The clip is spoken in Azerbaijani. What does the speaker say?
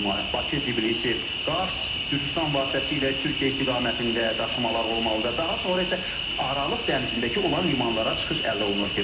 Bakı, Tblisi, Qars Gürcüstan vasitəsilə Türkiyə istiqamətində daşımalar olmalıdır, daha sonra isə Aralıq dənizindəki olan limanlara çıxış əldə olunur.